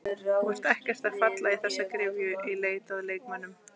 Þú ert ekkert að falla í þessa gryfju í leit að leikmönnum?